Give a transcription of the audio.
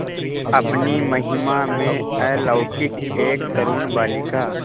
अपनी महिमा में अलौकिक एक तरूण बालिका